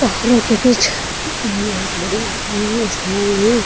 पहाड़ों के बीच बहुत बड़ी हैं ।